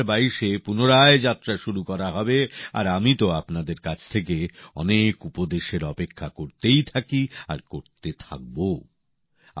২০২২ এ পুনরায় যাত্রা শুরু করা হবে আর আমি তো আপনাদের কাছ থেকে অনেক উপদেশের অপেক্ষা করতেই থাকি আর করতে থাকবোও